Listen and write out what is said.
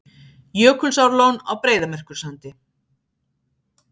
Jökulsárlón á Breiðamerkursandi.